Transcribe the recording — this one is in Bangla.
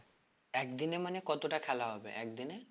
একদিনে মানে কতটা খেলা হবে একদিনে?